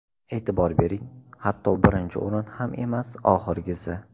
E’tibor bering, hatto birinchi o‘rin ham emas, oxirgisi.